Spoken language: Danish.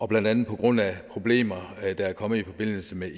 blandt andet på grund af problemer der er kommet i forbindelse med